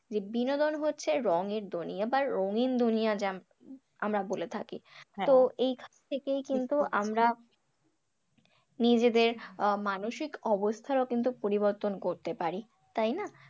যে বিনোদন হচ্ছে রঙের দুনিয়া বা রঙিন দুনিয়া যা আমরা বলে থাকি তো এখান থেকেই কিন্তু আমরা নিজেদের মানসিক অবস্থারও পরিবর্তন করতে পারি, তাই না?